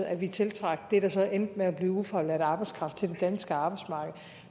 at vi tiltrak det der så endte med at blive ufaglært arbejdskraft til det danske arbejdsmarked